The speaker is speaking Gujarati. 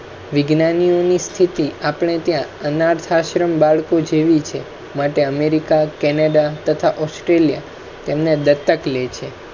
વિજ્ઞાનનો સ્થિતિ આપણે અનાથ આશ્રમ બાળકો જેવી છે સાથે America, Canada તથા Australia તેમને દત્તક લે છે